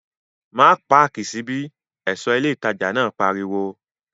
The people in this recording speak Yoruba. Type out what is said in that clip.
Má páàkì sí bí! ẹ̀ṣọ́ ilé ìtajà náà pariwo